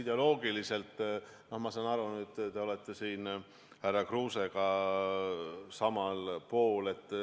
Ideoloogiliselt, ma saan aru, te olete härra Kruusega samal pool.